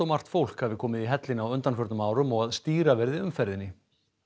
margt fólk hafi komið í hellinn á undanförnum árum og að stýra verði umferðinni